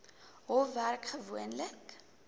hof werk gewoonlik